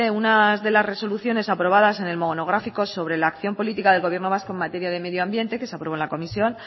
unas de las resoluciones aprobadas en el monográfico sobre la acción política del gobierno vasco en materia de medio ambiente que se aprobó en la comisión